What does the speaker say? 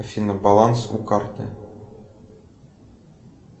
афина баланс у карты